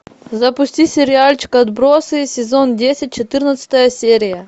запусти сериальчик отбросы сезон десять четырнадцатая серия